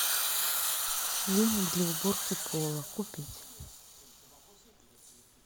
веник для уборки пола купить